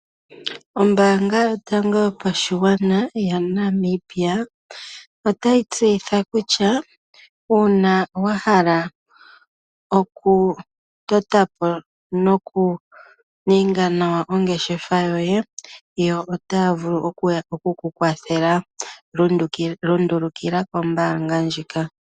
Oombanga yotango yopashigwana yaNamibia otayi tseyitha kutya uuna wa hala oku tota po noku ninga nawa ongeshefa yoye yo ota vulu okukukwathala oshimaliw shontumba lundulukila kombaanga ndjika.